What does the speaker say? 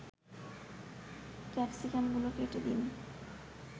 ক্যাপসিকামগুলো কেটে দিন